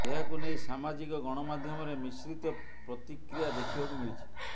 ଏହାକୁ ନେଇ ସାମାଜିକ ଗଣମାଧ୍ୟମରେ ମିଶ୍ରିତ ପ୍ରତିକ୍ରିୟା ଦେଖିବାକୁ ମିଳିଛି